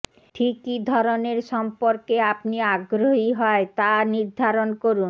ঠিক কি ধরনের সম্পর্ক আপনি আগ্রহী হয় তা নির্ধারণ করুন